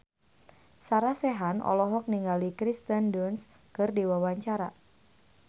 Sarah Sechan olohok ningali Kirsten Dunst keur diwawancara